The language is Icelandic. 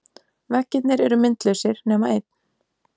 Veggirnir eru myndlausir nema einn.